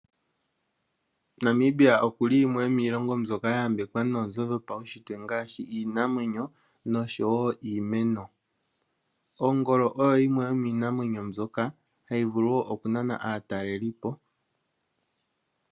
Namibia okuli yimwe yomilongo mbyoka ya yambekwa nonzo dhopaushitwe ngashi iinamwenyo niimeno. Ongolo oyo yimwe yominamwenyo mbyoka hayi vulu oku nana aatalelipo.